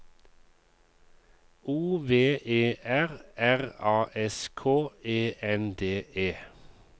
O V E R R A S K E N D E